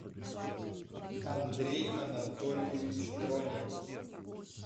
андрей анатольевич тронин